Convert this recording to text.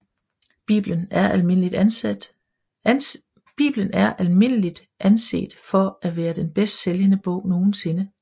Bibelen er almindeligt anset for at være den bedst sælgende bog nogen sinde